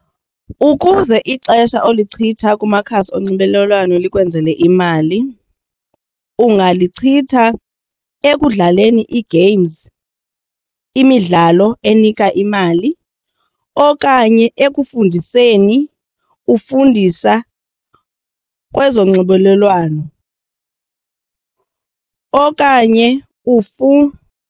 Ukuze ixesha olichitha kumakhasi onxibelelwano likwenzele imali ungalichitha ekudlaleni ii-games, imidlalo enika imali okanye ekufundiseni ufundisa kwezonxibelelwano okanye .